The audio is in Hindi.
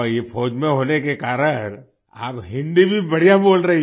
ये फौज में होने के कारण आप हिंदी भी बढ़िया बोल रही हो